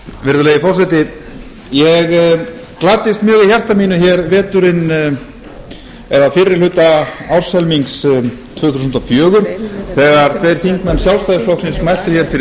virðulegi forseti ég gladdist mjög í hjarta mínu veturinn eða fyrri hluta árshelmings tvö þúsund og fjögur þegar tveir þingmenn sjálfstæðisflokksins mæltu hér fyrir